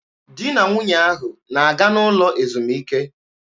Di na nwunye ahụ na-aga n'ụlọ ezumike.